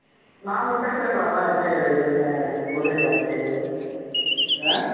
நாம பேசிருக்கலாம்ல புரியல actually ஆ